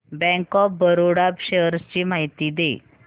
bank of Baroda shares ची माहिती दे